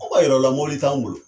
Anw b'a yira aw la mɔbili t'anw bolo.